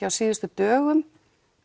á síðustu dögum